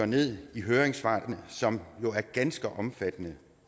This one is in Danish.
ned i høringssvarene som jo er ganske omfattende